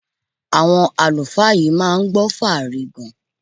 Àwọn àlùfáà yìí máa gbọ́ fáàrí gan-an.